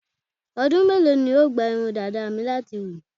Ọdú mélòó ni yóò gba irun dàda mi láti hù?